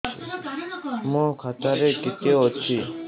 ମୋ ଖାତା ରେ କେତେ ଅଛି